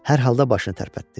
Hər halda başını tərpətdi.